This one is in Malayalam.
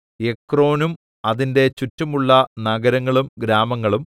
എക്രോനും അതിന്റെ ചുറ്റുമുള്ള നഗരങ്ങളും ഗ്രാമങ്ങളും